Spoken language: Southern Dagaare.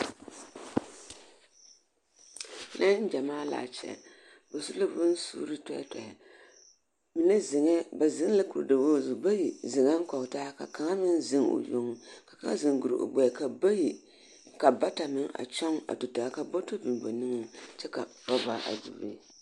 Neŋgyamaa laa kyɛ. Ba su la bonsuuri tɔɛtɔɛ. Mine zeŋɛɛ ba zeŋ la kuridawogi zu bayi zeŋɛŋ kɔge ta aka kaŋa meŋ zeŋ o yoŋ, ka kaŋa zeŋ guri o gbɛɛ ka bayi ka bata meŋ a kyɔŋ a tu taa ka bɔtɔ biŋ ba niŋeŋ kyɛ ka orɔba a biŋ be.